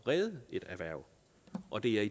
redde et erhverv og det